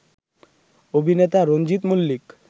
অভিনেতা রঞ্জিত মল্লিক